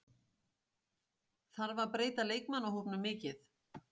Þarf að breyta leikmannahópnum mikið?